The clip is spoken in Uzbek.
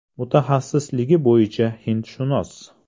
Mutaxassisligi bo‘yicha hindshunos.